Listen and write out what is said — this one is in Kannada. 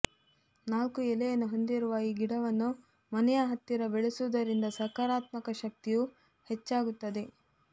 ನಾಲ್ಕು ಎಲೆಯನ್ನು ಹೊಂದಿರುವ ಈ ಗಿಡವನ್ನು ಮನೆಯ ಹತ್ತಿರ ಬೆಳೆಸುವುದರಿಂದ ಸಕಾರಾತ್ಮಕ ಶಕ್ತಿಯು ಹೆಚ್ಚಾಗುತ್ತದೆ